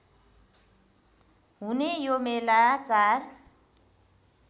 हुने यो मेला चार